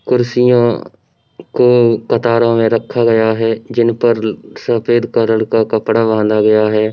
कुर्सियों को कतारों में रखा गया है जिनपर सफ़ेद कलर का कपड़ा बाँधा गया है।